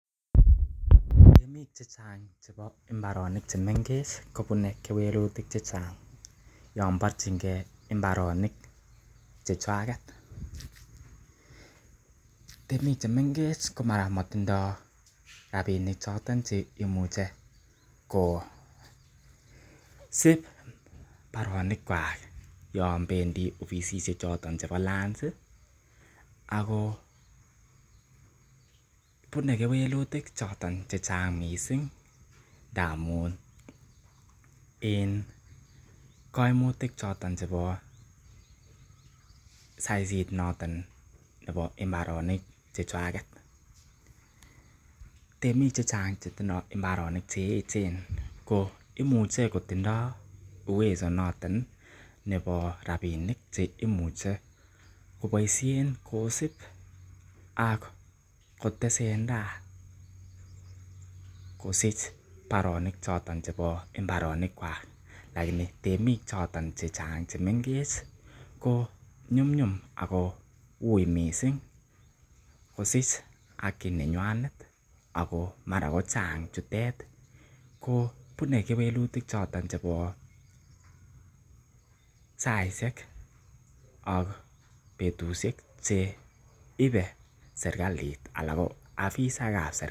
Temik che chang chebo mbaronik che mengech kobune kewlutik che chang yon borchinge mboronik che chwaget. Temik che mengech ko mara komotindo rabinik choton che imuche ko sib baronik kwak yon bendi ofisihek chooton bo Lands ago bune kewelutik choton che chang mising ndamun en komutk choton chebo sasit noton neo mbaronik chechwaget. Temik che chang ch etindo mbaornik ch eeechen ko imuche kotindo uwezo noton nebo rabinik che imuch ekoboishen kosib ak kotesenati kosich baronik choton chebo mbaronikwak lakini temik choton che chang che mengech konyumnyum ago uiy mising kosich haki nenywan ago mara kochang chutet ko bune kewelutik choton chebo saishek ak betushek che ibe serkalit ala ko afisishek.